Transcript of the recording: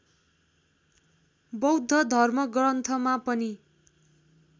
बौद्ध धर्मग्रन्थमा पनि